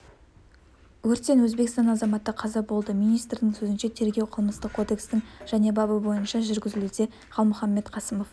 өрттен өзбекстан азаматы қаза болды министрдің сөзінше тергеу қылмыстық кодекстың және бабы бойынша жүргізілуде қалмұханбет қасымов